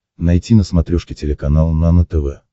найти на смотрешке телеканал нано тв